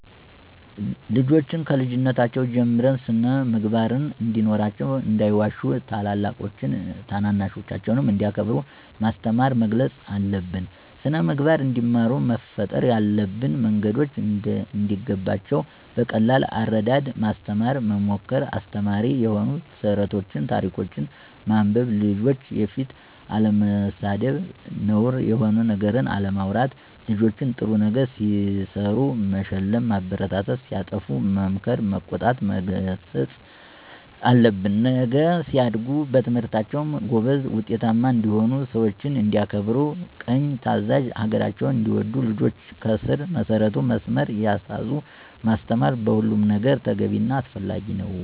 ልጆችን ከልጅነታቸው ጀምረን ስን-ምግባር እንዲኖራቸው እንዳይዋሹ ታላላቆቻቸውን ታናናሾቻቸውንም እንዲያከብሩ ማስተማር መገሰፅ አለብን። ስነምግባር እንዲማሩ መፍጠር ያለብን መንገዶች እንዲገባቸው በቀላል አረዳድ ማስተማር መምከር አስተማሪ የሆኑ ተረቶችን ታሪኮችን ማንበብ፣ ልጆች ፊት አለመሳደብ፣ ነውር የሆነ ነገር አለማውራት ልጆች ጥሩ ነገር ሲሰሩ መሸለም ማበረታታት ሲያጠፉ መምከር መቆጣት መገሰፅ አለብን። ነገ ሲያድጉ በትምህርታቸውም ጎበዝ ውጤታማ እንዲሆኑ፣ ሰውችን እንዲያከብሩ፦ ቅን ታዛዥ፣ ሀገራቸውን እንዲወዱ ልጆችን ከስር መሰረቱ መስመር እያሳዙ ማስተማር በሁሉም ነገር ተገቢ እና አስፈላጊ ነው።